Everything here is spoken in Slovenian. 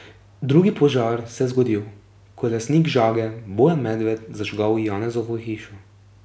Drugi požar se je zgodil, ko je lastnik žage Bojan Medved zažgal Janezovo hišo.